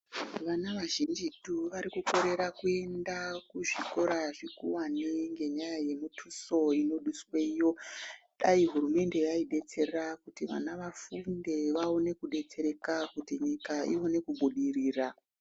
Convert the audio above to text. Vana vazhinjitu varikukorera kuenda kuzvikora zvikuwane ngenyaya yemiduso inoduswayo. Dai hurumende yaidetsera kuti vana vafunde vaone kudetsereka kuti nyika ione kubudirira.